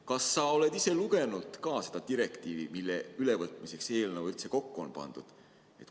Kas sa oled ise ka lugenud seda direktiivi, mille ülevõtmiseks see eelnõu üldse kokku on pandud?